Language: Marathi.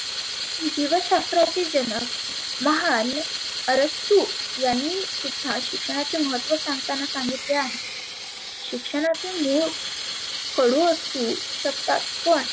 जिवशास्त्राचे जनक महान अरस्तु यांनी सुद्धा शिक्षणाचे महत्व सांगताना सांगितले आहे. शिक्षणाचे मुळ कडु असु शकतात पण